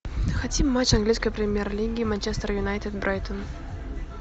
хотим матч английской премьер лиги манчестер юнайтед брайтон